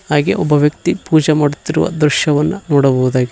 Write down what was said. ಹಾಗೆ ಒಬ್ಬ ವ್ಯಕ್ತಿ ಪೂಜೆ ಮಾಡುತ್ತಿರುವ ದೃಶ್ಯವನ್ನು ನೋಡಬಹುದಾಗಿದೆ.